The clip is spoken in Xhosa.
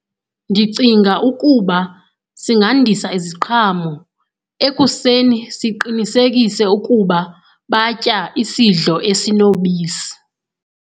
Ndicinga ukuba singandisa iziqhamo, ekuseni siqinisekise ukuba batya isidlo esinobisi.